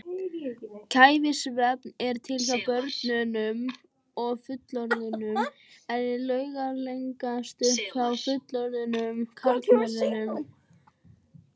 Kæfisvefn er til hjá börnum og fullorðnum en er langalgengastur hjá fullorðnum karlmönnum.